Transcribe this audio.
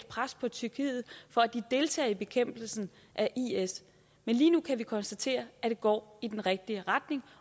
pres på tyrkiet for at de deltager i bekæmpelsen af is men lige nu kan vi konstatere at det går i den rigtige retning